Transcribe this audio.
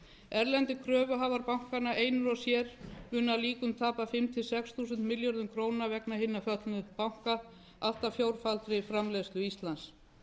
erlendir kröfuhafar bankanna einir og sér munu að líkum tapa fimm til sex þúsund milljörðum króna vegna hinna föllnu banka allt að fjórfaldri framleiðslu íslands